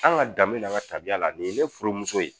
An ka dan min na an ka tabiya la nin ye ne furumuso ye